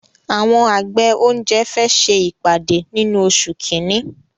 Àwọn àgbẹ̀ oúnjẹ fẹ ṣe ìpàdé nínú oṣù kínní